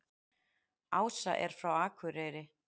Ása er frá Akureyri.